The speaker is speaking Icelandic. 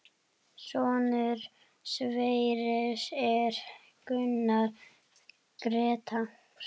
Sonur Sverris er Gunnar Grétar.